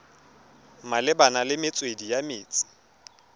malebana le metswedi ya metsi